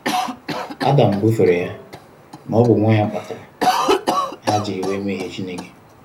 Adam búfèrè yà n'óbù nwáńyà kpatárà hà jiri wé méhìé Chínèké